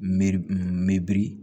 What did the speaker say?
Me n biri